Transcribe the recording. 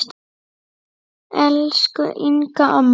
Elsku Inga amma.